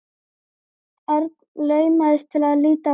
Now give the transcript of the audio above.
Örn laumaðist til að líta á klukkuna.